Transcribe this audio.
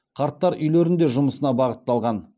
қарттар үйлерінде жұмысына бағытталған